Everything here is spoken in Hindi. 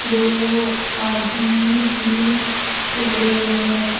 दो आदमी भी खड़े हैं।